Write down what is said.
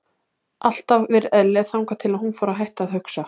Alltaf verið eðlileg þangað til að hún fór að hætta að hugsa.